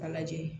A lajɛ